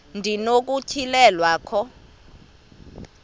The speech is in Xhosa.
ndi nokutyhilelwa khona